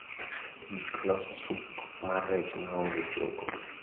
gik loso sup mar rech ma onge chogo